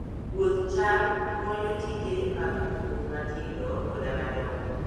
Puoth cham konyo tije mag pur matindo koda madongo.